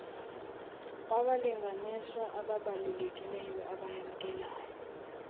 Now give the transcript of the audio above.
wabalinganiswa abaabalulekileyo abayamkelayo